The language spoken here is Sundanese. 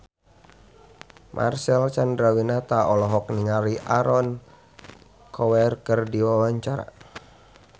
Marcel Chandrawinata olohok ningali Aaron Kwok keur diwawancara